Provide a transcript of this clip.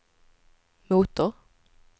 motor